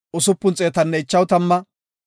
Yoosefa na7aa Efreemape 40,500